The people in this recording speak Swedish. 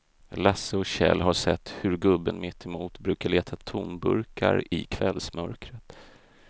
Lasse och Kjell har sett hur gubben mittemot brukar leta tomburkar i kvällsmörkret.